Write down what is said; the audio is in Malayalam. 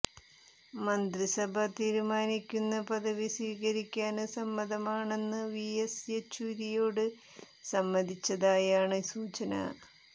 മന്ത്രിസഭ തീരുമാനിക്കുന്ന പദവി സ്വീകരിക്കാന് സമ്മതമാണെന്ന് വിഎസ് യെച്ചൂരിയോട് സമ്മതിച്ചതായാണ് സൂചന